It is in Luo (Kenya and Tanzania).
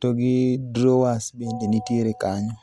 to gi drawers bende nitiere kanyo.